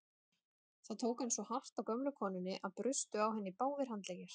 Þá tók hann svo hart á gömlu konunni að brustu á henni báðir handleggir.